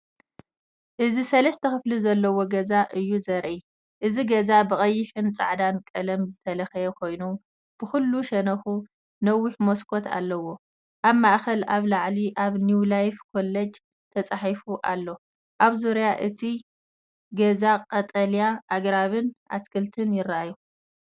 እዚ ሰለስተ ክፍሊ ዘለዎ ገዛ እዩ ዘርኢ። እቲ ገዛ ብቐይሕን ጻዕዳን ቀለም ዝተለኽየ ኮይኑ፡ ብኹሉ ሸነኹ ነዊሕ መስኮት ኣለዎ። ኣብ ማእኸል፡ኣብ ላዕሊ፡ ኣብ “ኒው ላይፍ ኮለጅ” ተጻሒፉ ኣሎ። ኣብ ዙርያ እቲ ገዛ ቀጠልያ ኣግራብን ኣትክልትን ይራኣዩ።